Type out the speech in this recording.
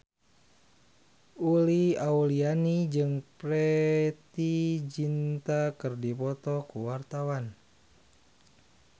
Uli Auliani jeung Preity Zinta keur dipoto ku wartawan